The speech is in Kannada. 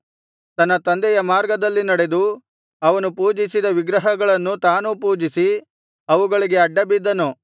ತನ್ನ ತಂದೆಯ ಮಾರ್ಗದಲ್ಲಿ ನಡೆದು ಅವನು ಪೂಜಿಸಿದ ವಿಗ್ರಹಗಳನ್ನು ತಾನೂ ಪೂಜಿಸಿ ಅವುಗಳಿಗೆ ಅಡ್ಡಬಿದ್ದನು